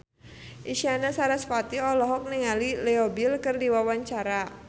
Isyana Sarasvati olohok ningali Leo Bill keur diwawancara